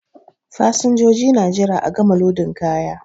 Fasinjoji na jira a gama lodin kaya.